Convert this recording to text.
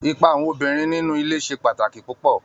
Ipa àwọn obìnrin nínú ilé ṣe pàtàkì púpọ̀